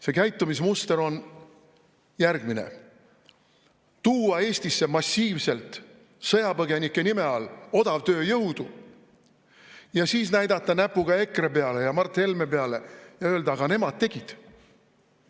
See käitumismuster on järgmine: tuua Eestisse massiivselt sõjapõgenike nime all odavtööjõudu ja siis näidata näpuga EKRE peale ja Mart Helme peale ja öelda, aga nemad tegid.